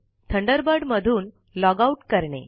Thunderbird मधून log out करणे